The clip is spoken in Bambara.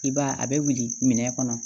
I b'a ye a bɛ wuli minɛ kɔnɔ